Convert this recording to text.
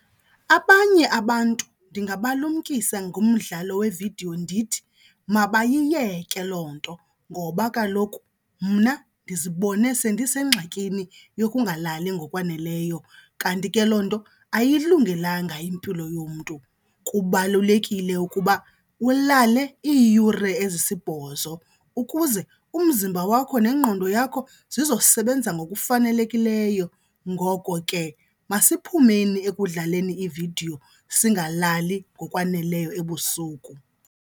Abanye abantu ndingabalumkisa ngomdlalo wevidiyo ndithi mabayiyeke loo nto ngoba kaloku mna ndizibone sendisengxakini yokungalali ngokwaneleyo, kanti ke loo nto ayiyilungelanga impilo yomntu. Kubalulekile ukuba ulale iiyure ezisibhozo ukuze umzimba wakho nengqondo yakho zizosebenza ngokufanelekileyo. Ngoko ke masiphumeni ekudlaleni iividiyo singalali ngokwaneleyo ebusuku.